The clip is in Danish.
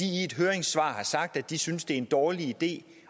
i et høringssvar sagt at de synes det er en dårlig idé